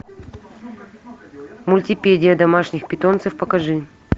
мультипедия домашних питомцев покажи